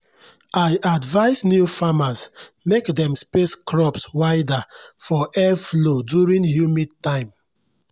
i advise new farmers mek dem space crops wider for airflow during humid time